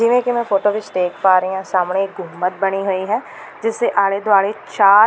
ਜਿਵੇਂ ਕਿ ਮੈਂ ਫੋਟੋ ਵਿੱਚ ਦੇਖ ਪਾ ਰਹੀ ਹਾਂ ਸਾਹਮਣੇ ਇੱਕ ਮੱਦ ਬਣੀ ਹੋਈ ਹੈ ਜਿਸ ਦੇ ਆਲੇ ਦੁਆਲੇ ਚਾਰ--